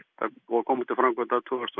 og komu til framkvæmda tvö þúsund